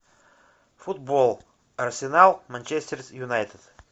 футбол арсенал манчестер юнайтед